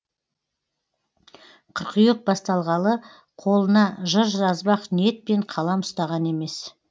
қыркүйек басталғалы қолына жыр жазбақ ниетпен қалам ұстаған емес